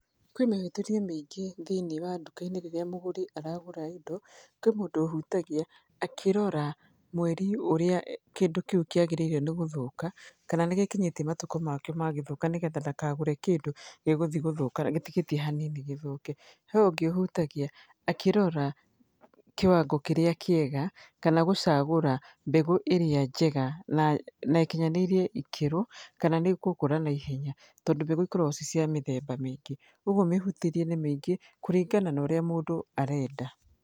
Kwĩ mĩhutĩrie mĩingĩ thĩiniĩ wa nduka-inĩ rĩrĩa mũgũri aragũra indo. Kwĩ mũndũ ũhutagia akĩrora mweri ũrĩa kĩndũ kĩu kĩagĩrĩire nĩ gũthũka, kana nĩ gĩkinyĩtie matukũ makĩo ma gũthũka nĩgetha ndakagũre kĩndũ gĩ gũthi gũthũka gĩtigĩtie hanini gĩthũke. He ũngĩ ũhutagia akĩrora kiwango kĩrĩa kĩega, kana gũcagũra mbegũ ĩrĩa njega na ĩkinyanĩirie ikĩro, kana nĩ ĩgũkũra naihenya, tondũ mbegũ ikoragwo ci cia mĩthemba mĩingĩ. Kũguo mĩhutĩrie nĩ mĩingĩ, kũringana na ũrĩa mũndũ arenda.